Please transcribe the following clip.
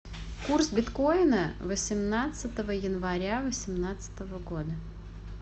курс биткоина восемнадцатого января восемнадцатого года